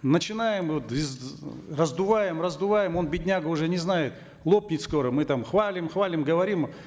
начинаем вот раздуваем раздуваем он бедняга уже не знает лопнет скоро мы там хвалим хвалим говорим